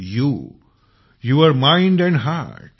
U your mind and heart